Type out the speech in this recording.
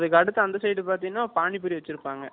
அதுக்கு அடுத்த side பார்த்திங்கன்னா பானிபூரி வச்சிருப்பாங்க